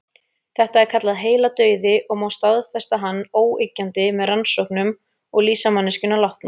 Þetta er kallað heiladauði og má staðfesta hann óyggjandi með rannsóknum og lýsa manneskjuna látna.